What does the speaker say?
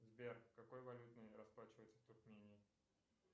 сбер какой валютой расплачиваются в туркмении